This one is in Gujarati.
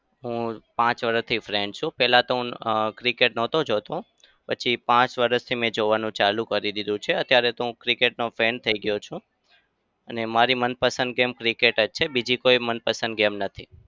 હું પાંચ વરસથી fan છું. પેલા તો હું cricket નતો જોતો. પછી પાંચ વરસથી મેં જોવાનું ચાલુ કરી દીધું છે. અત્યારે તો હું cricket નો fan થઇ ગયો છું. અને મારી મનપસંદ game cricket જ બીજી કોઈ મનપસંદ game નથી.